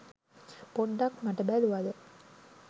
පොඩ්ඩක් මට බැලුවද?